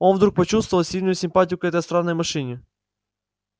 он вдруг почувствовал сильную симпатию к этой странной машине